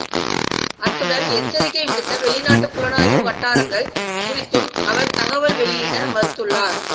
அத்துடன் எச்சரிக்கை விடுத்த வெளிநாட்டு புலனாய்வு வட்டாரங்கள் குறித்தும் அவர் தகவல் வெளியிட மறுத்துள்ளார்